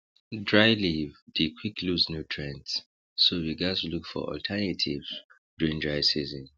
dry leave dey quick lose nutrients so we gaz look for alternatives during dry season